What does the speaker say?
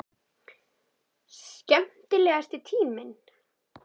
Skemmtilegasti tíminn?